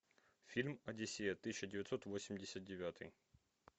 фильм одиссея тысяча девятьсот восемьдесят девятый